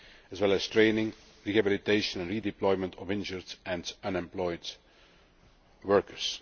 as well as training, rehabilitation and redeployment of injured and unemployed workers.